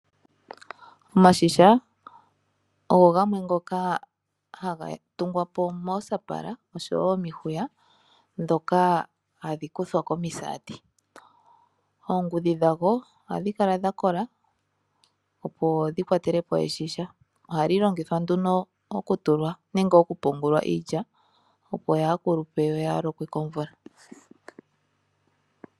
Iigadhi ohaga tungwa noombala momihwiya ndhono hadhi kuthwa komisati. Oongudhi dhayo ohadhi kala dha kola, opo dhi kwatele po oshigadhi. Ohashi longithwa oku tulwa iilya yaakulupe nokulokwa komvula.